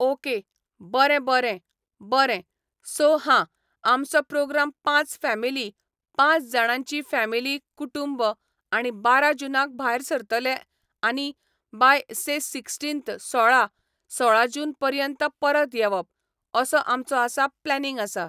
Okay बरें बरें बरें सो हां आमचो प्रोग्राम पांच फेमिली पांच जाणांची फेमिली कुटूंब आणी बारा जुनाक भायर सरतले आनी बाय से सिक्सटीन्थ सोळा, सोळा जून पर्यांत परत येवप, असो आमचो आसा प्लेनिंग आसा.